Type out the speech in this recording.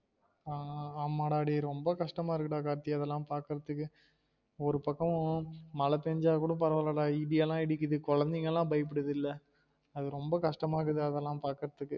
ஆஹ் ஆமா டா டே ரொம்ப கஷ்டமா இருக்குடா கார்த்தி அதுல்லாம் பாக்குறதுக்கு ஒரு பக்கோம் மழ பேஞ்சா கூட பரவாயில்ல டா இடி எல்லாம் இடிக்குது கொழந்தைங்க எல்லாம் பயபுடுதுல அது ரொம்ப கஷ்டமா இருக்குது டா அதெல்லாம் பாக்குறதுக்கு